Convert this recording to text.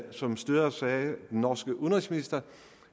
som styres af den norske udenrigsminister